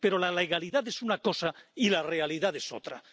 Pero la legalidad es una cosa y la realidad es otra.